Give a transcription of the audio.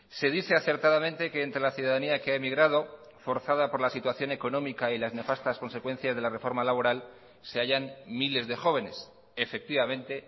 se dice acertadamente que entre la ciudadanía que ha emigrado forzada por la situación económica y las nefastas consecuencias de la reforma laboral se hayan miles de jóvenes efectivamente